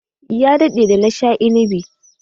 Ya daɗe da na sha inibi.